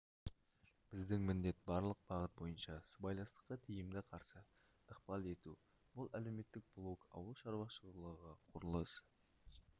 біздің міндет барлық бағыт бойынша сыбайластыққа тиімді қарсы ықпал ету бұл әлеуметтік блок ауыл шаруашылығы құрылыс